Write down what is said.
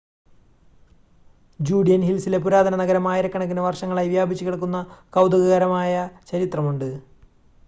Judean ഹിൽസിലെ പുരാതന നഗരം ആയിരക്കണക്കിന് വർഷങ്ങളായി വ്യാപിച്ചുകിടക്കുന്ന കൗതുകകരമായ ചരിത്രമുണ്ട്